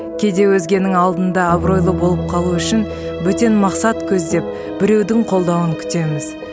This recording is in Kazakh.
кейде өзгенің алдында абыройлы болып қалу үшін бөтен мақсат көздеп біреудің қолдауын күтеміз